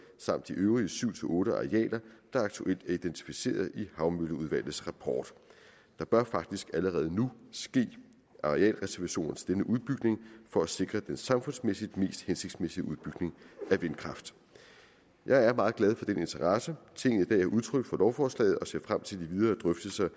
samt de øvrige syv otte arealer der aktuelt er identificeret i havmølleudvalgets rapport der bør faktisk allerede nu ske arealreservationer til denne udbygning for at sikre den samfundsmæssigt mest hensigtsmæssige udbygning af vindkraft jeg er meget glad for den interesse tinget i dag har udtryk for lovforslaget og ser frem til de videre drøftelser